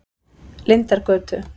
Lindargötu